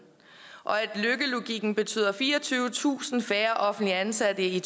og at løkkelogikken betyder fireogtyvetusind færre offentligt ansatte i